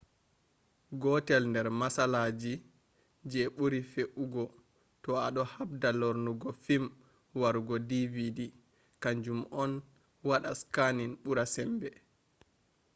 gotel nder matsalagi je buri feugo to ado habda lornugo fim warugo dvd kanjum on wada scanning bura sembe